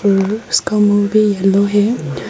इसका मुह भी येलो है।